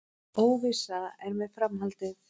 Óvissa er með framhaldið